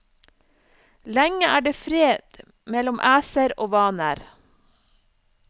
Lenge er det fred mellom æser og vaner.